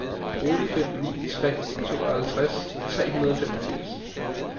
otte fem ni tre tooghalvtreds tre hundrede og femogfirs